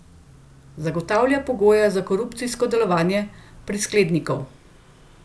Zagotavlja pogoje za korupcijsko delovanje prisklednikov.